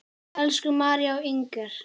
Elsku María og Inger.